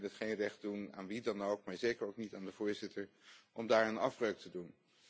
Ik vind het geen recht doen aan wie dan ook, maar zeker niet aan de voorzitter, om daaraan afbreuk te doen.